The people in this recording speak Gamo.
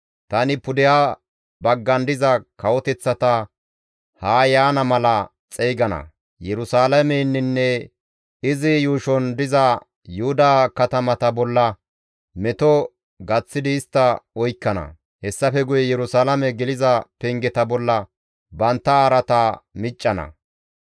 Tani pudeha baggan diza kawoteththata haa yaana mala xeygana; Yerusalaameninne izi yuushon diza Yuhuda katamata bolla meto gaththidi istta oykkana; hessafe guye Yerusalaame geliza pengeta bolla bantta araata miccana.